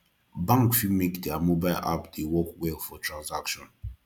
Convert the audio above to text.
bank fit make their mobile app dey work well for transaction